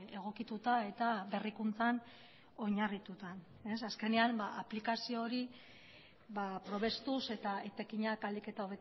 egokituta eta berrikuntzan oinarrituta azkenean aplikazio hori probestuz eta etekinak ahalik eta